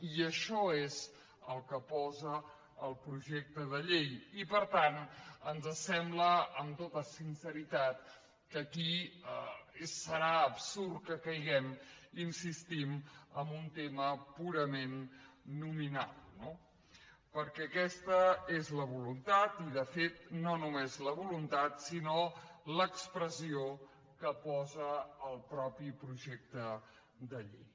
i això és el que posa el projecte de llei i per tant ens sembla amb tota sinceritat que aquí serà absurd que caiguem hi insistim en un tema purament nominal no perquè aquesta és la voluntat i de fet no només la voluntat sinó l’expressió que posa el mateix projecte de llei